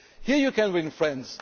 Here you can ring friends.